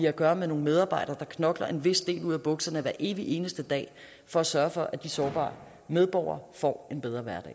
at gøre med nogle medarbejdere der knokler en vis del ud af bukserne hver evig eneste dag for at sørge for at de sårbare medborgere får en bedre hverdag